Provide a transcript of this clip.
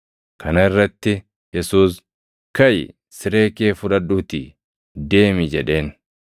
Kana irratti Yesuus, “Kaʼi! Siree kee fudhadhuutii deemi” jedheen.